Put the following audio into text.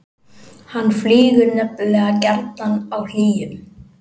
hann flýgur nefnilega gjarnan á hlýjum